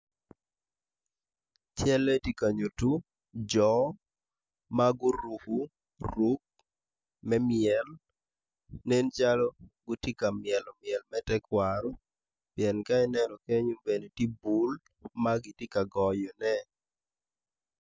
Calle tye ka nyuto jo ma guruko ruk me myel nencalo gitye ka myelo myel me tekwaro pien ka ineno keny tye bul ma kitye ka goyone.